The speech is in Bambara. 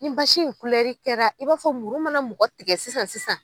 Ni basi in kɛra i b'a fɔ muru mana mɔgɔ tigɛ sisan sisan.